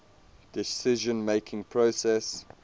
decision making process